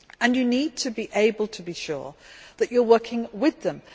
You need to be able to be sure that you are working with them.